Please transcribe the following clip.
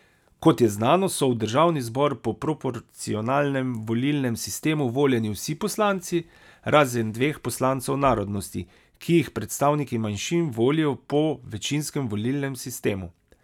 Kot je znano, so v državni zbor po proporcionalnem volilnem sistemu voljeni vsi poslanci, razen dveh poslancev narodnosti, ki jih predstavniki manjšin volijo po večinskem volilnem sistemu.